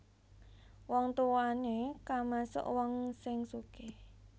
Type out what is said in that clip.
Wong tuwane kamasuk wong sing sugih